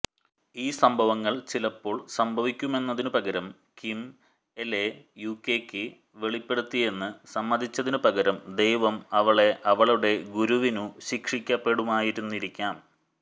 ഈ സംഭവങ്ങൾ ചിലപ്പോൾ സംഭവിക്കുമെന്നതിനു പകരം കിം എൽലെ യുകെക്ക് വെളിപ്പെടുത്തിയെന്ന് സമ്മതിച്ചതിനുപകരം ദൈവം അവളെ അവളുടെ ഗുരുവിനു ശിക്ഷിക്കപ്പെടുമായിരുന്നിരിക്കാം